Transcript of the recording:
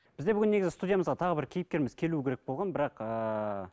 бізде бүгін негізі студиямызға тағы бір кейіпкеріміз келуі керек болған бірақ ыыы